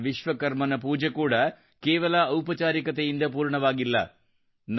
ಭಗವಾನ್ ವಿಶ್ವಕರ್ಮನ ಪೂಜೆ ಕೂಡಾ ಕೇವಲ ಔಪಚಾರಿಕತೆಯಿಂದ ಪೂರ್ಣವಾಗಿಲ್ಲ